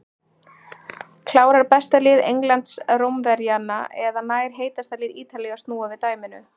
Klárar besta lið Englands Rómverjana eða nær heitasta lið Ítalíu að snúa við dæminu?